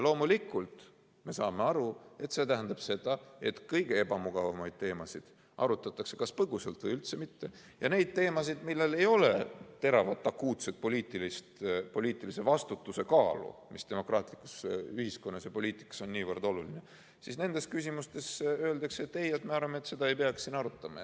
Loomulikult me saame aru, et see tähendab seda, et kõige ebamugavamaid teemasid arutatakse kas põgusalt või üldse mitte, aga nendes küsimustes, millel ei ole teravat akuutset poliitilise vastutuse kaalu, mis demokraatlikus ühiskonnas ja poliitikas on niivõrd oluline, öeldakse: ei, me arvame, et seda ei peaks siin arutama.